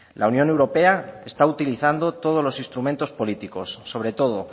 la unión europea está utilizando todos los instrumentos políticos sobre todo